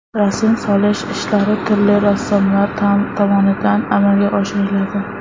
Rasm solish ishlari turli rassomlar tomonidan amalga oshiriladi.